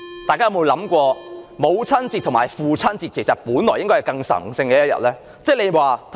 大家有沒有想過，母親節和父親節應該是更神聖的日子？